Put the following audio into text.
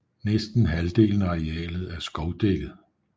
Næsten halvdelen af arealet er skovdækket